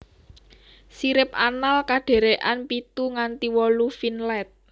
Sirip anal kadherekan pitu nganti wolu finlet